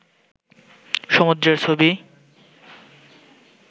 সমুদ্রের ছবি